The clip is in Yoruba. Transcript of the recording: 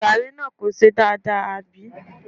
Gààrí náà kò ṣe dáadáa, àbí?